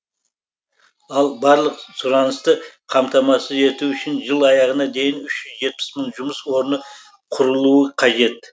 ал барлық сұранысты қамтамасыз ету үшін жыл аяғына дейін үш жүз жетпіс мың жұмыс орны құрылуы қажет